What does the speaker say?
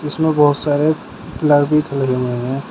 इसमें बहुत सारे लगे हुए हैं।